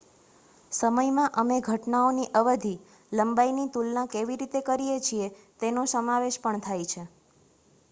સમયમાં અમે ઘટનાઓની અવધિ લંબાઈની તુલના કેવી રીતે કરીએ છીએ તેનો સમાવેશ પણ થાય છે